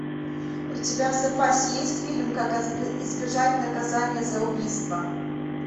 у тебя в запасе есть фильм как избежать наказания за убийство